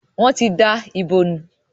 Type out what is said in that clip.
Wọn tí da ibo nù.